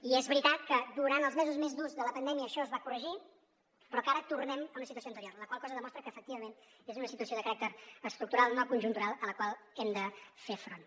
i és veritat que durant els mesos més durs de la pandèmia això es va corregir però ara tornem a una situació anterior la qual cosa demostra que efectivament és una situació de caràcter estructural no conjuntural a la qual hem de fer front